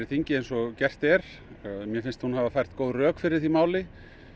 þingið eins og gert er mér finnst hún hafa fært góð rök fyrir því máli